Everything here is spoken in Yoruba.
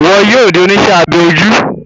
Iwọ yóò di oníṣe abẹ ojú